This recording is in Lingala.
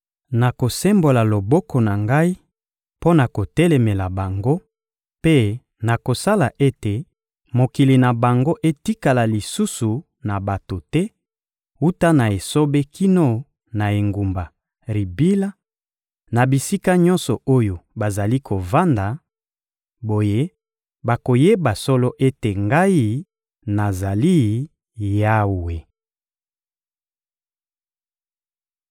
Nakosembola loboko na Ngai mpo na kotelemela bango mpe nakosala ete mokili na bango etikala lisusu na bato te, wuta na esobe kino na engumba Ribila, na bisika nyonso oyo bazali kovanda; boye bakoyeba solo ete Ngai nazali Yawe.»